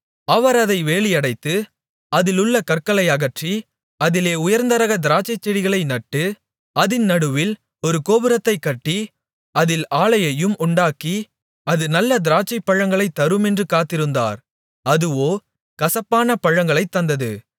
அவர் அதை வேலியடைத்து அதிலுள்ள கற்களை அகற்றி அதிலே உயர்ந்தரக திராட்சைச்செடிகளை நட்டு அதின் நடுவில் ஒரு கோபுரத்தைக்கட்டி அதில் ஆலையையும் உண்டாக்கி அது நல்ல திராட்சைப்பழங்களைத் தருமென்று காத்திருந்தார் அதுவோ கசப்பான பழங்களைத் தந்தது